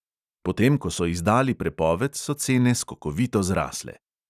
Potem ko so izdali prepoved, so cene skokovito zrasle.